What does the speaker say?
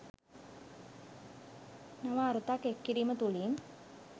නව අරුතක් එක් කිරීම තුළින්